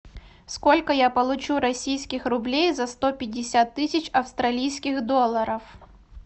сколько я получу российских рублей за сто пятьдесят тысяч австралийских долларов